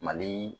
Mali